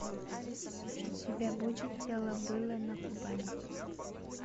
у тебя будет дело было на кубани